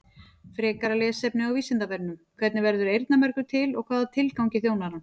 Frekara lesefni á Vísindavefnum: Hvernig verður eyrnamergur til og hvaða tilgangi þjónar hann?